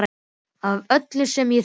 Og af öllum sem ég þekki.